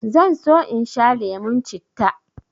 zan so in sha lemon citta